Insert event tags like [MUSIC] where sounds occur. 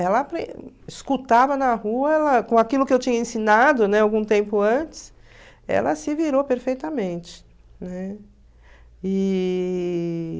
Ela [UNINTELLIGIBLE] escutava na rua, ela com aquilo que eu tinha ensinado algum tempo antes, ela se virou perfeitamente, né? E...